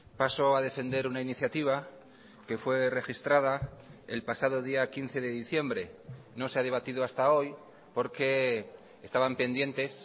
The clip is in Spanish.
paso a defender una iniciativa que fue registrada el pasado día quince de diciembre no se ha debatido hasta hoy porque estaban pendientes